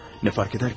Nə fərq edər ki?